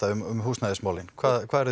um húsnæðismálin hvað